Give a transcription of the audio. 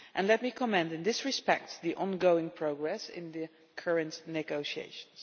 Let me commend in this respect the ongoing progress in the current negotiations.